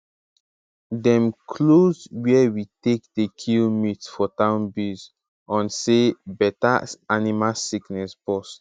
dem close where we take dey kill meat for town base on say better animal sickness bust